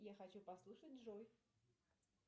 я хочу послушать джой